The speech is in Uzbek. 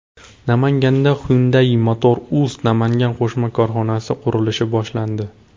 Namanganda Hyundai Motor Uz Namangan qo‘shma korxonasi qurilishi boshlandi.